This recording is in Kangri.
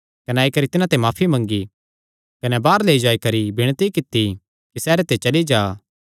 कने आई करी तिन्हां ते माफी मंगी कने बाहर लेई जाई करी विणती कित्ती कि सैहरे ते चली जा